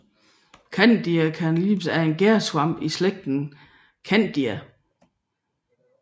Candida albicans er en gærsvamp i slægten Candida